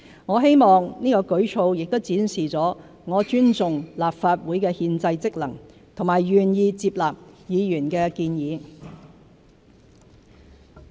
我希望此舉措亦展示了我尊重立法會的憲制職能和願意接納議員的建議。